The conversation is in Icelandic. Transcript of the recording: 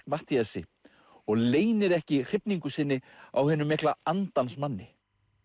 Matthíasi og leynir ekki hrifningu sinni á hinum mikla andans manni